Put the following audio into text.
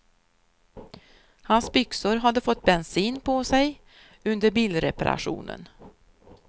Hans byxor hade fått bensin på sig under bilreparationen.